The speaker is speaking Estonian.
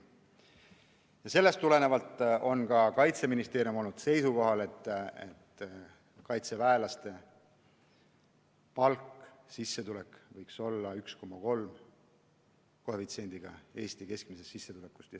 Ja sellest tulenevalt on Kaitseministeerium olnud seisukohal, et kaitseväelaste sissetulek võiks olla 1,3-kordne Eesti keskmine sissetulek.